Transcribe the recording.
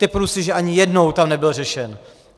Tipnu si, že ani jednou tam nebyl řešen.